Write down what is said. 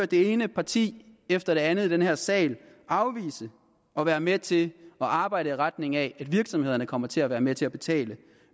det ene parti efter det andet i den her sal afvise at være med til at arbejde i retning af at virksomhederne kommer til at være med til at betale